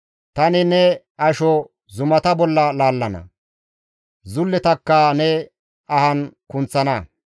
Tani ne asho zumata bolla laallana; zulletakka ne ahan kunththana.